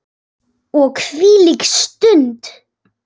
Og hvílík stund!